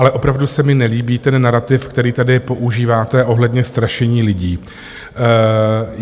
Ale opravdu se mi nelíbí ten narativ, který tady používáte ohledně strašení lidí.